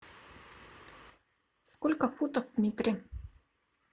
сколько футов в метре